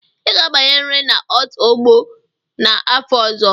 Ị ga-abanyerịrị na out ogbo n'afọ ọzọ!